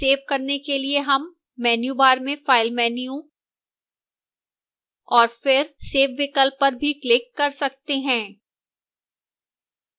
save करने के लिए हम menu bar में file menu और फिर save विकल्प पर भी click कर सकते हैं